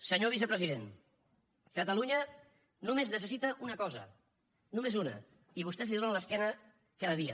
senyor vicepresident catalunya només necessita una cosa només una i vostès li donen l’esquena cada dia